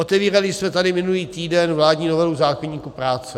Otevírali jsme tady minulý týden vládní novelu zákoníku práce.